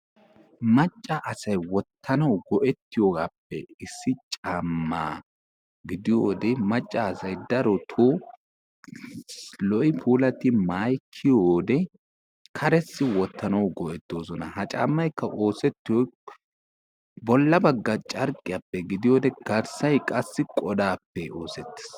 Macca asay wottanw go'etiyoogaappe issi caamma gidiyoode maccasay darottoo lo''i puulati maayyi kiyiyoode karessi wottanawu go''ettoosona. ha caammaykka bolla bagga carqqiyappe gidiyoode bollay qassi qodappe oosettees.